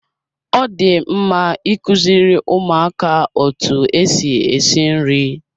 Ọ dị mma ikuziri ụmụaka otu esi esi nri.